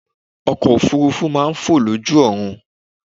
Ọkọ̀ òfuurufú máa ń fò lójú ọ̀run.